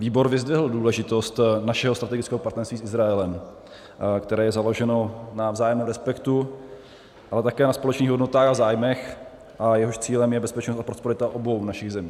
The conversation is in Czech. Výbor vyzdvihl důležitost našeho strategického partnerství s Izraelem, které je založeno na vzájemném respektu, ale také na společných hodnotách a zájmech a jehož cílem je bezpečnost a prosperita obou našich zemí.